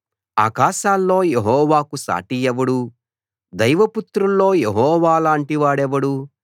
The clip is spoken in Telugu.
ఆకాశాల్లో యెహోవాకు సాటి ఎవడు దైవపుత్రుల్లో యెహోవాలాంటి వాడెవడు